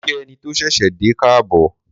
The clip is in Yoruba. Mo kí ẹni tó ṣẹ̀ṣẹ̀ dé káàbọ̀.